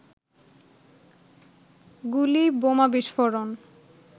গুলি, বোমা বিস্ফোরণ